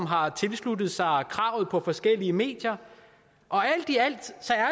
har tilsluttet sig kravet på forskellige medier og alt i alt